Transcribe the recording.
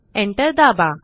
enter दाबा